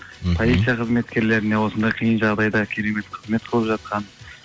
полиция қызметкерлеріне осындай қиын жағдайда керемет қызмет қылып жатқан